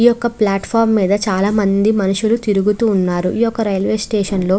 యొక్క ప్లాట్ఫారం మీద చాలామంది మనుషులు తిరుగుతూ ఉన్నారు. ఈ యొక్క రైల్వే స్టేషన్ లో --